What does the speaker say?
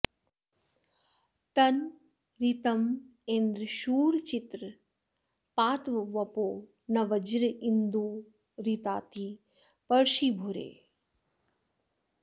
तन्म ऋतमिन्द्र शूर चित्र पात्वपो न वज्रिन्दुरिताति पर्षि भूरि